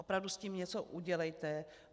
Opravdu s tím něco udělejte.